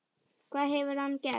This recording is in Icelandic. Hvað hefur hann gert?